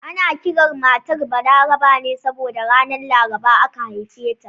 Ana kiran matar Balaraba ne saboda ranar Laraba aka haife ta